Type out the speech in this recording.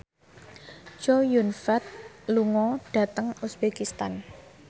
Chow Yun Fat lunga dhateng uzbekistan